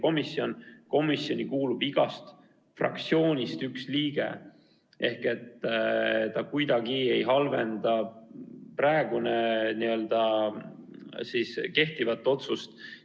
Nii et uus otsus kuidagi ei halvenda kehtivat otsust.